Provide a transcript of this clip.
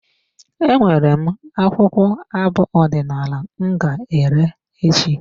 E nwere m akwụkwọ abụ ọdinala m ga ere echi.